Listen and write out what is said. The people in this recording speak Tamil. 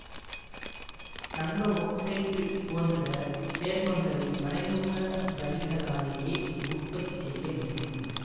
தங்கஒக்சைட்டு போன்ற சேர்மங்களை மறைமுக வழிகளாலேயே உற்பத்தி செய்ய முடியும்